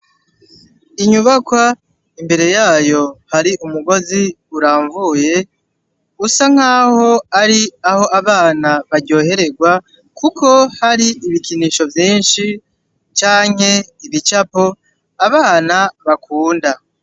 Inyubakwa imbere yayo hari umugozi uramvuye usa nk'aho ari aho abana baryohererwa kuko hari ibikinisho vyinshi canke ibicapo abana bakunda.